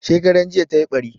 Shekaran jiya tayi ɓari.